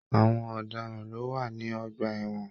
Àwọn ọdaràn ló n wà ní ọgbà ẹwọn.